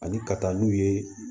Ani ka taa n'u ye